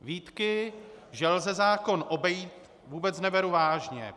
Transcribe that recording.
Výtky, že lze zákon obejít, vůbec neberu vážně.